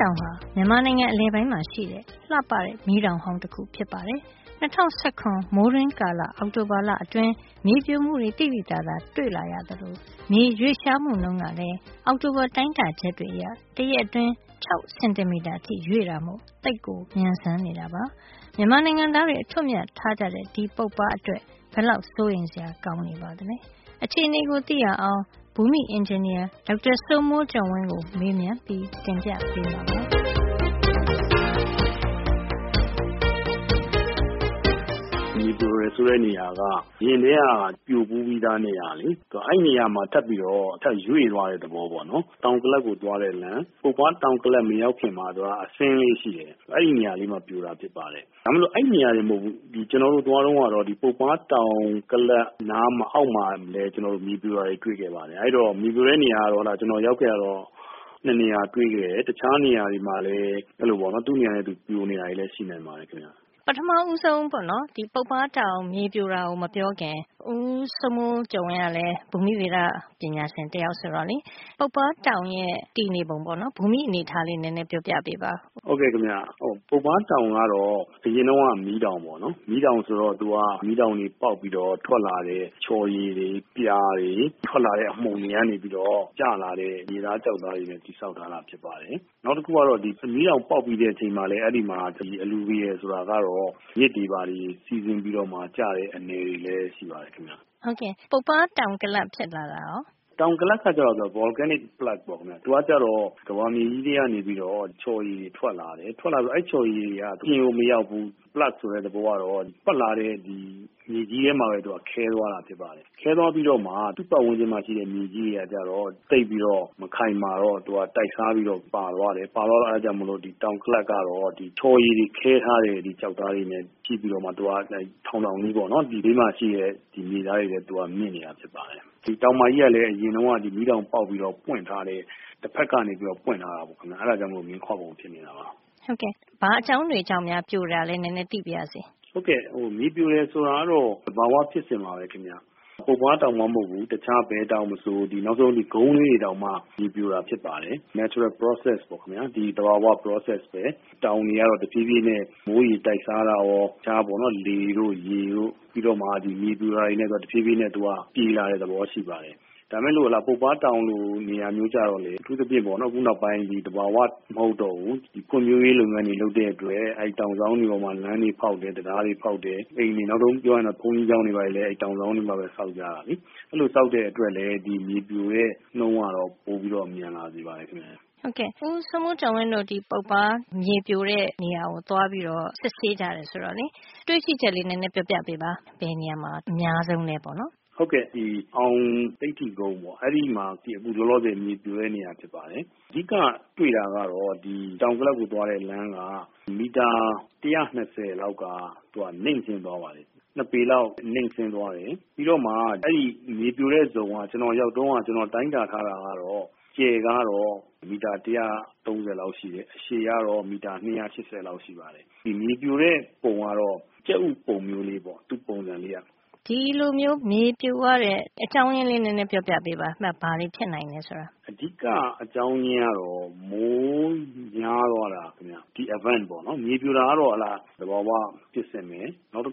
တောင်ဟာ မြန်မာနိုင်ငံအလယ်ပိုင်းမှာ ရှိတဲ့ လှပတဲ့ မီးတောင်ဟောင်းတခု ဖြစ်ပါတယ်။ ၂၀၁၇ ခု မိုးတွင်းကာလ အောက်တိုဘာလအတွင်း မြေပြိုမှုတွေ သိသိသာသာ တွေ့လာရသလို မြေရွေ့လျားမှုနှုန်းကလည်း အောက်တိုဘာ တိုင်းတာချက်တွေ အရ တရက်အတွင်း ၆ စင်တီမီတာ ရွေ့တာမို့ ရွေ့လျားနှုန်း သိပ်ကို မြန်နေတာပါ။ မြန်မာနိုင်ငံသားတွေ အထွဋ်အမြတ်ထားကြတဲ့ ပုပ္ပါးအတွက် ဘယ်လောက်စိုးရိမ်စရာ ကောင်းပါသလဲ။ အခြေနေကို သိရအောင် ဘူမိအင်ဂျင်နီယာ ဒေါက်တာစိုးမိုးကျော်ဝင်းကို မေးမြန်းပြီးတင်ပြပေးမှာပါ။ မြေပြိုတယ် ဆိုတဲ့ နေရာက အရင်ကတည်းက ပြိုဘူးပြီးသား နေရာပါ။ အဲဒီနေရာမှာ ထပ်ပြီး ရွေ့သွားတဲ့ သဘောပေါ့။ တောင်ကလပ်ကို သွားတဲ့ လမ်း၊ ပုပ္ပါး တောင်ကလပ် မရောက်ခင်မှာ သူက အဆင်းကလေး ရှိတယ်။ အဲဒီနေရာလေးမှာ ပြိုတာ ဖြစ်ပါတယ်။ ဒါပေမယ့် အဲဒီနေရာတင် မဟုတ်ဖူး။ ကျွန်တော်တို့ သွားတုန်းကတော့ ပုပ္ပါး တောင်ကလပ်နား၊ အောက်မှာလည်း မြေပြိုတာတွေ တွေ့ခဲ့ပါတယ်။ အဲဒီတော့ မြေပြိုတဲ့ နေရာက ကျွန်တော်ရောက်ခဲ့တာ ၂ နေရာ တွေ့ခဲ့တယ်။ တခြားနေရာတွေမှာလည်း အဲဒီလို ပြိုနေတာ သူ့နေရာနဲ့ သူ ရှိနိုင်ပါတယ်။ ပထမဦးဆုံး ပုပ္ပါးတောင် မြေပြိုတဲ့ အကြောင်းရင်းကို မပြောခင်၊ ဦးစိုးမိုးကျော်ဝင်း ကလည်း ဘူမိဗေဒ ပညာရှင် တယောက်ဆိုတော့ ပုပ္ပါးတောင်ရဲ့ တည်နေပုံပေါ့လေ၊ ဘူမိ အနေအထားလေး နဲနဲ ပြောပြပေးပါ။ ဟုတ်ကဲ့ခင်ဗျ ပုပ္ဗါးတောင်ကတော့ အရင်တုန်းက မီးတောင်တခုပါ။ အဲဒီတော့ မီးတောင်ပေါက်ကွဲပြီး ထွက်လာတဲ့ ချော်ရည်တွေ၊ ပြာတွေ၊ ထွက်လာတဲ့ အမှုန်တွေ ကနေပြီးတော့ ကျလာတဲ့ မြေသား ကျောက်သားတွေနဲ့ တည်ဆောက်ထားတာ ဖြစ်ပါတယ်။ နောက်တခုက အဲဒီမီးတောင် ပေါက်ပြီးချိန်မှာ အဲဒီမှာ alluvial တွေ၊ ဆိုတာကတော့ မြစ်တွေ ချောင်းတွေ စီးဆင်းပြီးမှ ကျလာတဲ့ အနည်တွေလည်း ရှိပါတယ်။ ဟုတ်ကဲ့ ပုပ္ပါး တောင်ကလပ် ဖြစ်လာတာကရော။ တောင်ကလပ်ကကျတော့ volcanic plug ပေါ့ခင်ဗျ။ သူကကျတော့ ဒီ ကမ္ဘာမြေကြီး ထဲကနေ ချော်ရည်တွေ ထွက်လာတယ်။ ထွက်လာပြီးတော့ အဲဒီချော်ရည် တွေက မြေပြင်ပေါ် မရောက်ဘူး၊ plug ဆိုတဲ့ သဘောကတော့ ထွက်လာတဲ့ မြေကြီးထဲမှာပဲ ခဲသွားတာဖြစ်ပါတယ်။ ခဲသွားပြီးတော့မှ သူ့ပတ်ဝန်းကျင်မှာ ရှိတဲ့ မြေကြီးတွေက ကျတော့ သိပ်ပြီးတော့ မခိုင်မာတော့ သူက တိုက်စားပြီး ပါသွားတယ်။ ပါသွားတော့ သူက ကျန်နေတယ်။ အဲဒီတော့ တောင်ကလပ်က ကျတော့ ချော်ရည်တွေ ခဲထားတဲ့ ဒီကျောက်သားတွေနဲ့ ဖြစ်နေပြီးတော့ သူက နံဘေးမှာ ရှိတဲ့ မြေသားတွေထက်မြင့်ပြီး ထောင်ထောင်ကြီးဖြစ်နေတာပါ။ တောင်မကြီးကလည်း အရင်တုန်းက ဒီ မီးတောင်ပေါက်ပြီး ပွင့်ထားတဲ့၊ တဖက်ကနေ ပွင့်ထားတာပါ။ အဲဒါကြောင့် မြင်းခွါပုံဖြစ်နေတာပါ။ မြေပြိုရတဲ့ အကြောင်းရင်း။ ဘာအကြောင်းတွေ ကြောင့်များ မြေပြိုလဲ သိပါရစေ။ မြေပြိုတယ် ဆိုတာကတော့ သဘာဝ ဖြစ်စဉ် တခုပဲခင်ဗျ။ ပုပ္ပါးတောင်မှ မဟုတ်ဖူး၊ ဘယ်တောင်မဆို၊ နောက်ဆုံး ကုန်းကလေးတွေတောင်မှ ပြေပြိုတာ ဖြစ်ပါတယ်။ natural process ပေါ့ခင်ဗျာ။ ဒီ သဘာဝ ဖြစ်စဉ်ပဲ တောင် တွေကတော့ တဖြေးဖြေးနဲ့ မိုးရေ တိုက်စားတာရော တခြား ရေတို့ လေတို့ ကြောင့် မြေပြိုတာနဲ့ တဖြေးဖြေး ပြေလာတဲ့ သဘောရှိပါတယ်။ ဒါပေမယ့် ပုပ္ပါးတောင်လို နေရာမျိုး ကျတော့ အထူးသဖြင့် ခုနောက်ပိုင်းမှာ သဘာဝ မဟုတ်တော့ဘူး၊ ဖွံ့ဖြိုးရေး လုပ်ငန်းတွေ လုပ်တဲ့ အတွက် အဲဒီတောင်စောင်းတွေ ပေါ်မှာ လမ်းတွေ ဖေါက်တယ်၊ တံတားတွေ ဖေါက်တယ်၊ အိမ်တွေ၊ နောက်ဆုံး ဘုန်းကြီးကျောင်းတွေ ကလည်း အဲဒီ တောင်စောင်းတွေမှာပဲ ဆောက်ကြတယ်။ အဲဒီလို ဆောက်တဲ့ အတွက်ကြောင့်လည်း ဒီမြေပြိုတဲ့ နှုန်းက ပိုမြန်လာစေပါတယ်ခင်ဗျ။ ဦးစိုးမိုးကျော်ဝင်းတို့ ပုပ္ပါး မြေပြိုတဲ့ နေရာတွေ သွား စစ်ဆေးကြတယ် ဆိုတော့ တွေ့ရှိချက်ကလေးတွေ ပြောပြပေးပါ။ ဘယ်နေရာမှာ အများဆုံးလဲ။ အောင်သိဓ္ဓိကုန်းပေါ့နော်။ အခုလောလောဆယ် အဲဒီနေရာက လောလောဆယ် မြေပြိုတဲ့ နေရာ ဖြစ်ပါတယ်။ အဓိက တွေ့တာကတော့ တောင်ကလပ်ကို သွားတဲ့ လမ်းက မီတာ ၁၂၀ လောက်က နိမ့်ဆင်းသွားပါတယ်။ ၂ ပေလောက်ပေါ့။ ၂ ပေလောက်နိမ့်ဆင်းသွားတယ်။ အဲဒီမြေပြိုတဲ့ ဇုံက ကျွန်တော်ရောက်တုန်းက တိုင်းတာ ထားတာကတော့ အကျယ်က မီတာ ၁၃၀ လောက် ရှိတယ်။ အရှည်ကတော့ မီတာ ၂၈၀ လောက် ရှိပါတယ်။ နောက်တခုကလည်း ဒီမြေပြိုတဲ့ ပုံကတော့ ကြက်ဥပုံကလေးပေါ့ သူ့ပုံစံကလေးက ကြက်ဥပုံလေး ဖြစ်နေပါတယ်။ အဲဒီနေရာမှာ ဒီလိုမြေပြိုရတဲ့ အကြောင်းရင်းလေးပြောပြပေးပါ။ ဘာတွေကြောင့် ဖြစ်လာသလဲ ဆိုတာ။ အဓိက အကြောင်းရင်းကတော့ မိုးများသွားတာ ခင်ဗျ။ ဒီနေရာမှာ ပြိုတဲ့ အကြောင်းပေါ့နော်။ မြေပြိုတာဟာ သဘာဝ ဖြစ်စဉ်ပါ။ နောက်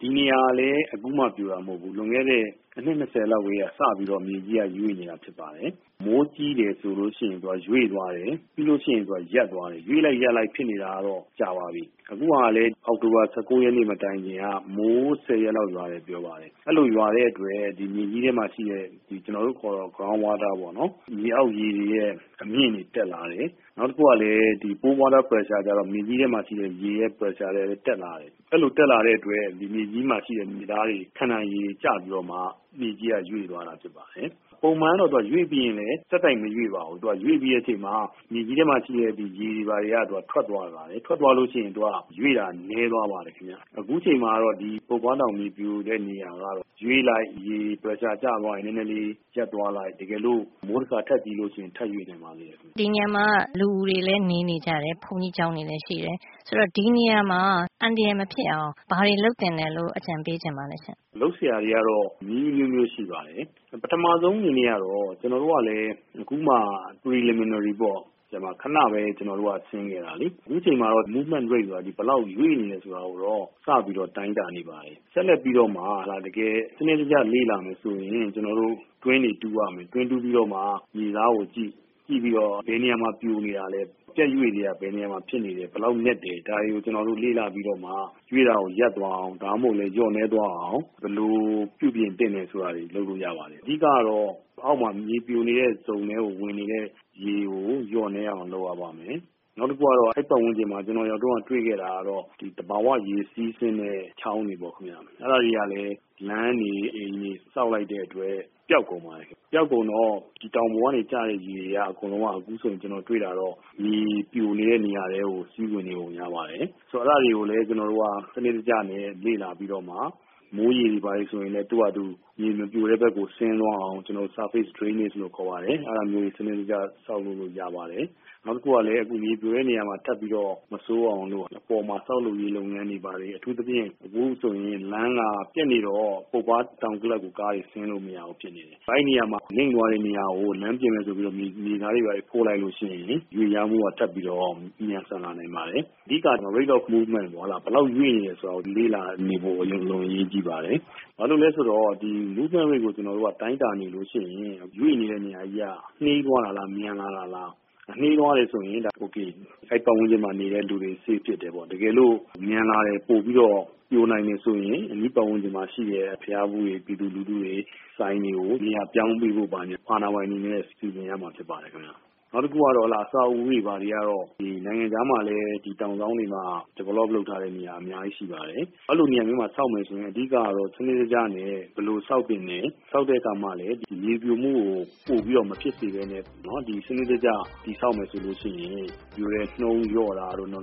ဒီနေရာဟာ အခုမှ ပြိုတာ မဟုတ်ပါဘူး။ လွန်ခဲ့တဲ့ အနှစ် ၂၀ လောက်ကတည်းက စပြီးတော့ မြေကြီးက ရွေ့နေတာ ဖြစ်ပါတယ်။ မိုးကြီးတယ် ဆိုရင် သူက ရွေ့သွားပါတယ်။ ပြီးရင် သူက ရပ်သွားပါတယ်။ ဒီလို ရွေ့လိုက် ရပ်လိုက် ဖြစ်နေတာကတော့ ကြာပါပြီ။ အခုဟာကလည်း အောက်တိုဘာ ၁၉ ရက်နေ့ မတိုင်ခင်က မိုးဆယ်ရက်လောက် ရွာတယ် ပြောပါတယ်။ အဲဒီလို ရွာတဲ့ အတွက် မြေကြီးထဲမှာ ရှိတဲ့ ground water ပေါ့နော်။ မြေအောက်ရေတွေရဲ့ အမြင့်တွေ တက်လာတယ်။ နောက်တခုက pore water pressure အဲဒါကျတော့ မြေကြီးထဲမှာ ရှိတဲ့ ရေရဲ့ ဖိအားတွေလည်း တက်လာတယ်။ အဲဒီလို တက်လာတဲ့ အတွက် ဒီမြေကြီးမှာ ရှိတဲ့ မြေသားတွေ ခံနိုင်ရည် ကျပြီးတော့မှ မြေကြီးကရွေ့သွားတာ ဖြစ်ပါတယ်။ ပုံမှန်ကတော့ သူက ရွေ့ပြီးရင်လည်း ဆက်တိုက် မရွေ့ပါဘူး။ သူက ရွေ့ပြီးတဲ့ အချိန်မှာ မြေကြီးထဲမှာ ရှိတဲ့ ရေတွေ ဘာတွေက ထွက်သွားပါတယ်။ ထွက်သွားလို့ ရှိရင် သူကရွေ့တာ နဲသွားပါတယ်။ အခုအချိန်မှာတော့ ဒီ ပုပ္ပါးတောင် မြေပြိုတဲ့ နေရာက ရွေ့လိုက်၊ ရေဖိအား ကျသွားရင်သူက နဲနဲလေးရပ်သွားလိုက်၊ တကယ်လို့ မိုးတခါ ထပ်ကြီးရင်တော့ ထပ်ရွေ့နိုင်ပါသေးတယ် ခင်ဗျ။ ဒီနေရာမှာက လူတွေလည်း နေနေကြတယ်။ ဘုန်းကြီးကျောင်းတွေလည်း ရှိတယ်။ ဒီနေရာမှာ အန္တရာယ် မဖြစ်အောင် ဘာတွေ လုပ်သင့်ပါသလဲ။ အန္တရာယ် မဖြစ်အောင်ကတော့ လုပ်စရာတွေ ကတော့ နည်းအမျိုးမျိုး ရှိပါတယ်။ ပထမဆုံး အနေနဲ့ကတော့ ကျွန်တော်တို့ကလည်း အခုမှ preliminary ပေါ့ ခဏပဲ ကျွန်တော်တို့က ဆင်းခဲ့တာလေ။ အခုအချိန်မှာတော့ သူ့ရဲ့ movement rate ဆိုတာ ဘယ်လောက်ရွေ့နေတယ် ဆိုတာကိုတော့ စပြီးတော့ တိုင်တာ နေပါတယ်။ ဆက်လက်ပြီးတော့မှ တကယ် စံနစ်တကျ လေ့လာမယ် ဆိုရင်၊ ကျွန်တော်တို့ တွင်းတွေ တူးရမယ်။ တွင်းတူးပြီးမှ မြေသားကိုကြည့်၊ ကြည့်ပြီးတော့ ဘယ်နေရာမှာ ပြိုနေတာလဲ၊ ပြတ်ရွေ့တွေက ဘယ်နေရာမှာ ဖြစ်နေတယ်။ ဘယ်လောက်နက်တယ်။ ဒါတွေကို ကျွန်တော်တို့ လေ့လာပြီးတော့မှ ရွေ့တာကို ရပ်သွားအောင် ဒါမှမဟုတ်လည်း လျော့နဲသွားအောင် ဘယ်လို ပြုပြင်သင့်တယ် ဆိုတာတွေ လုပ်လို့ ရပါတယ်။ အဓိက အောက်မှာ မြေပြိုနေတဲ့ဇုံထဲကို ဝင်နေတဲ့ ရေကို လျော့နဲအောင် လုပ်ရပါမယ်။ နောက်တခုကတော့ အဲဒီပတ်ဝန်းကျင်မှာ ကျွန်တော် ရောက်ခဲ့တုန်းကတော့ သဘာဝရေစီးဆင်းတဲ့ ချောင်းတွေပေါ့ခင်ဗျ၊ အဲဒါ တွေကလည်း လမ်းတွေ၊ အိမ်တွေ၊ ဆောက်လိုက်တဲ့အတွက် ပျောက်ကုန်ပါတယ်ခင်ဗျ။ ပျောက်ကုန်တော့ ဒီတောင်ပေါ်ကနေ ကျတဲ့ ရေတွေ အကုန်လုံးက အခုဆို ကျွန်တော်တွေ့တာတော့ မြေပြိုနေတဲ့ နေရာထဲကို စီးဝင်နေပုံရပါတယ်။ ဆိုတော့ အဲဒါတွေကိုလည်း ကျွန်တော်တို့က စံနစ်တကျနဲ့ လေ့လာပြီးတော့မှ မိုးရေတွေ ဘာတွေဆိုလဲ သူ့ဟာနဲ့သူ မြေမပြိုတဲ့ ဘက်ကိုဆင်းသွားအောင် surface drainage လို့ခေါ်ပါတယ်။ အဲဒါမျိုးတွေ စံနစ်တကျ ဆောက်ပေးလို့ ရပါတယ်။ နောက်တခုကလည်း အခု မြေပြိုတဲ့နေရာမှာ ထပ်ပြီးတော့ ဆိုးမသွားအောင် အပေါ်က ဆောက်လုပ်ရေးလုပ်ငန်းတွေ အထူးသဖြင့် အခုဆို လမ်းက ပျက်နေပါတယ်။ ပျက်နေတော့ ပုပ္ပါးတောင်ကလပ်ကို ကားတွေ ဆင်းလို့ မရဘူး ဖြစ်နေပါတယ်။ အဲဒီနေရာမှာ ထပ်ပြီးတော့ ဒီနိမ့်သွားတဲ့နေရာကို လမ်းပြင်မယ် ဆိုပြီးတော့ မြေသားတွေ ဘာတွေ ဖို့လိုက်လို့ ရှိရင် ရွေ့လျားမှုက ထပ်ပြီးတော့ မြန်ဆန်လာနိုင် ပါတယ်။ အဓိကက rate of movement ပေါ့။ ဘယ်လောက်ရွေ့နေတယ် ဆိုတာကို လေ့လာနေဖို့ အလွန်အင်မတန် အရေးကြီးပါတယ်။ ဘာကြောင့်လည်း ဆိုတော့ ဒီ movement rate ကို တိုင်းတာနေလို့ရှိရင် ရွေ့နေတဲ့နေရာကြီးက နှေးသွားတာလား၊ မြန်လာတာလား။ တကယ်လို့နှေးသွားတယ် ဆိုရင် ဒါအိုကေ၊ အဲဒီပတ်ဝန်းကျင်မှာ နေတဲ့ လူတွေ safe ဖြစ်တယ်ပေါ့။ တကယ်လို့ မြန်လာတယ်။ ပိုပြီးတော့ပြို လာနိုင်တယ် ဆိုရင် အနီးပတ်ဝန်းကျင်မှာ ရှိတဲ့ ဘုရားဖူးတွေ၊ ပြည်သူလူထုတွေ၊ ဆိုင်တွေကို နေရာပြောင်းပေးဖို့ ဘာညာ အာဏာပိုင်တွေနဲ့ စီစဉ်ရမှာ ဖြစ်ပါတယ်ခင်ဗျ။ နောက်တခုကတော့ အဆောက်အဦးတွေ ဘာတွေကတော့ နိုင်ငံခြားမှာလည်း ဒီလို တောင်စောင်းတွေမှာ develop လုပ်ထားတဲ့ နေရာ အများကြီး ရှိပါတယ်။ အဲဒီလို နေရာမျိုးတွေမှာ ဆောက်မယ် ဆိုရင် အဓိက ကတော့ စံနစ်တကျနဲ့ပဲ ဆောက်သင့်တယ်။ ဆောက်တဲ့ အခါမှာလည်း ဒီမြေပြိုမှုကို ပိုဖြစ်မလာအောင် စံနစ်တကျ တည်ဆောက်မယ် ဆိုရင် ပြိုတဲ့နှုန်းလျော့တာတို့ ၊ နော